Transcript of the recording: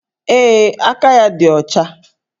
Ee, aka ya dị ọcha